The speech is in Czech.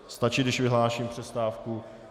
Stačí, když vyhlásím přestávku?